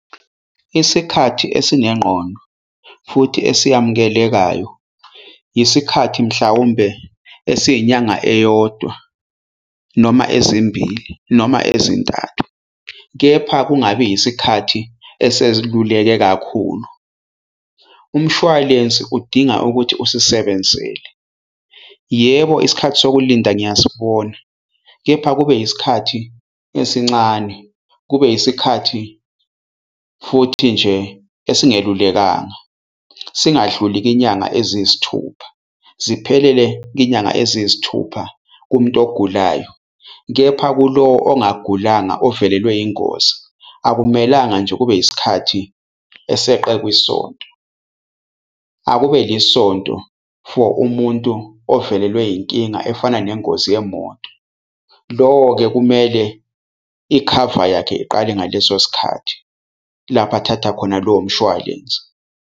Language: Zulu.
Isikhathi esinengqondo futhi esiyamukelekayo, isikhathi mhlawumbe esiyinyanga eyodwa noma ezimbili noma ezintathu. Kepha kungabi yisikhathi esesiluleke kakhulu. Umshwalense udinga ukuthi usisebenzele. Yebo, isikhathi sokulinda ngiyasibona, kepha kube isikhathi esincane kube isikhathi futhi nje esingelulekanga. Singadluli kwinyanga eziyisithupha ziphelele inyanga eziyisithupha kumuntu ogulayo. Kepha kulo ongagulanga ovelelwe ingozi, akumelanga nje kube yisikhathi eseqe kwisonto. Akube yisonto for umuntu ovelelwe yinkinga efana nengozi yemoto. Lowo-ke kumele ikhava yakhe iqale ngaleso sikhathi lapho athatha khona lo mshwalense.